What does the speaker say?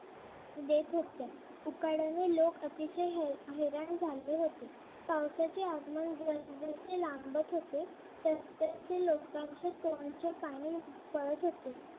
देत होते उकाड्याने लोक अतिशय हैराण झाले होते. पावसाचे आगमन जस जसे लांबच होते तसतसे लोकांचे तोंडचे पाणी पळत होते.